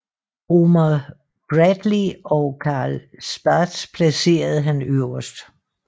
Omar Bradley og Carl Spaatz placerede han øverst